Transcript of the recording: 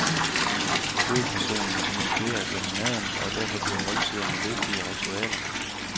Hovedpersonen kommunikerer gennem maden, og derfor bliver måltiderne vigtige ritualer.